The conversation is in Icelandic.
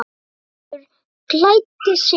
Gerður klæddi sig.